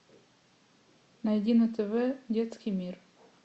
найди на тв детский мир